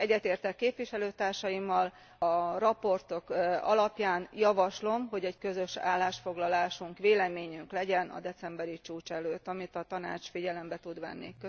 Egyetértek képviselőtársaimmal, a jelentések alapján javaslom, hogy közös állásfoglalásunk, véleményünk legyen a decemberi csúcs előtt, amit a Tanács figyelembe tud venni.